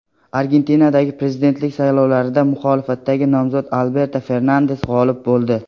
Argentinadagi prezidentlik saylovida muxolifatdagi nomzod Alberto Fernandes g‘olib bo‘ldi.